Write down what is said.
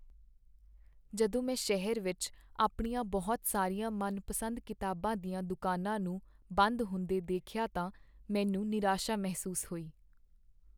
ਜਦੋਂ ਮੈਂ ਸ਼ਹਿਰ ਵਿੱਚ ਆਪਣੀਆਂ ਬਹੁਤ ਸਾਰੀਆਂ ਮਨਪਸੰਦ ਕਿਤਾਬਾਂ ਦੀਆਂ ਦੁਕਾਨਾਂ ਨੂੰ ਬੰਦ ਹੁੰਦੇ ਦੇਖਿਆ ਤਾਂ ਮੈਨੂੰ ਨਿਰਾਸਾ ਮਹਿਸੂਸ ਹੋਈ।